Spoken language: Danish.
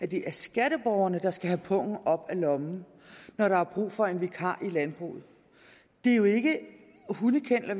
det er skatteborgerne der skal have pungen op af lommen når der er brug for en vikar i landbruget det er jo ikke hundekenneler